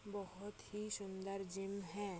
बहुत ही सुन्दर जिम है।